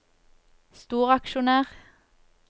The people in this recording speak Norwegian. storaksjonær